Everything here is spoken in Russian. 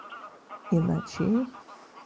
и ночей